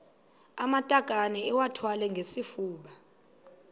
amatakane iwathwale ngesifuba